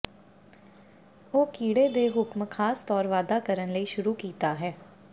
ਉਹ ਕੀੜੇ ਦੇ ਹੁਕਮ ਖਾਸ ਤੌਰ ਵਾਧਾ ਕਰਨ ਲਈ ਸ਼ੁਰੂ ਕੀਤਾ ਹੈ